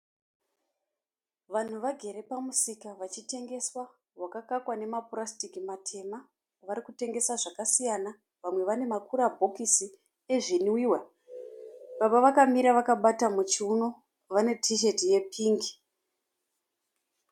Vanhu vagere pamusika vachitengesa. Wakakakwa nemapurasitiki matema. Varikutengesesa zvakasiyana. Vamwe vane ma kura bhokisi ezvinwiwa. Baba vakamira vakabata muchiuno vane tisheti ye pingi.